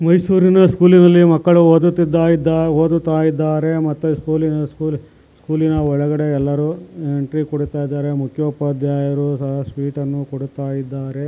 ಮೈಸೂರಿನ ಸ್ಕೂಲಿನಲ್ಲಿ ಮಕ್ಕಳು ಓಡುತಿದ್ದರೆ ಮತ್ತೆ ಸ್ಕೂಲಿನ ಒಳಗಡೆ ಎಲ್ಲರೂ ಟೀ ಕುಡಿತಾಇದರೆ ಮುಖ್ಯೋಪಾಧ್ಯಾಯರು ಸ್ವೀಟನ್ನು ಕೊಡುತ್ತಾ ಇದ್ದಾರೆ.